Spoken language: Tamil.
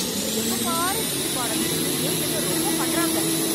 எப்போ பாரு வீட்டு பாடம் இருக்கு, எழுதுன்னு, ரொம்ப பண்றாங்க.